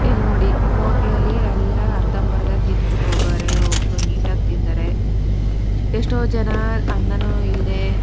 ಇಲ್ಲ್ ನೋಡಿ ಹೋಟೆಲ ಲ್ಲಿ ಎಲ್ಲ ಅರ್ಧಂಬರ್ದ ತಿಂದ್ಬಿಟ್ಟು ಹೋಗವ್ರೆ ಒಬ್ರು ನೀಟಾ ಗಿ ತಿಂದರೆ ಎಷ್ಟೋ ಜನ ಅನ್ನನು ಇಲ್ದೆ--